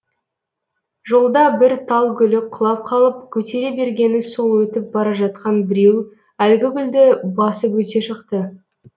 жолда бір тал гүлі құлап қалып көтере бергені сол өтіп бара жатқан біреу әлгі гүлді басып өте шықты